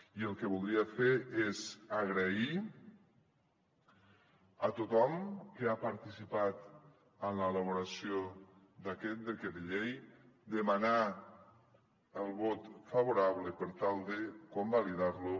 i el que voldria fer és donar les gràcies a tothom que ha participat en l’elaboració d’aquest decret llei demanar el vot favorable per tal de convalidar lo